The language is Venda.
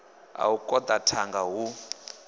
a u koḓa thanga hu